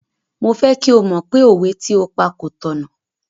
Mo fẹ́ kí o mọ̀ pé òwe tí o pa kò tọ̀nà.